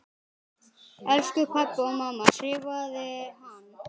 Elsku pabbi og mamma skrifaði hann.